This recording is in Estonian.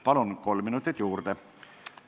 Palun kolm minutit juurde!